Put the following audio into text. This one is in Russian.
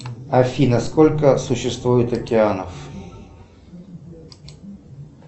афина сколько существует океанов